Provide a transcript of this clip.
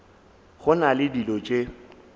go na le dilo tše